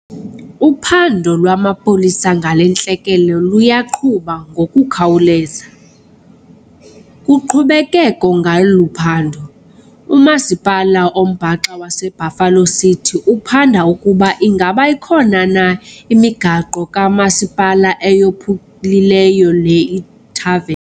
Uphando lwamapolisa ngale ntlekele luyaqhuba ngokukhawuleza. Kuqhubekeko ngolu phando, uMasipala oMbaxa waseBuffalo City uphanda ukuba ingaba ikhona na imigaqo kamasipala eyophulileyo le ithave.